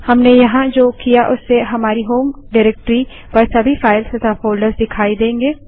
हमने यहाँ जो किया उससे हमारी होम डाइरेक्टरी पर सभी फाइल्स तथा फ़ोल्डर्स दिखाई देंगे